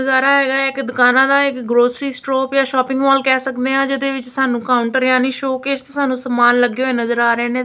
ਦਵਾਰਾ ਹੈਗਾ ਇੱਕ ਦੁਕਾਨਾਂ ਦਾ ਇੱਕ ਗਰੋਸਰੀ ਸਟਰੋਪ ਯਾਂ ਸ਼ੋਪਿੰਗ ਮੋਲ ਕਹਿ ਸਕਦੇ ਆ ਜਿਹਦੇ ਵਿੱਚ ਸਾਨੂੰ ਕਾਉਂਟਰ ਯਾਨੀ ਸ਼ੋਕੇਸ 'ਚ ਸਾਨੂੰ ਸਮਾਨ ਲੱਗੇ ਹੋਏ ਨਜ਼ਰ ਆ ਰਹੇ ਨੇ।